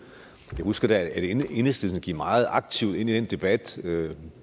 jeg husker da at enhedslisten gik meget aktivt ind i den debat ved